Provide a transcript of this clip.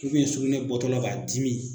sugunɛ bɔtɔla b'a dimi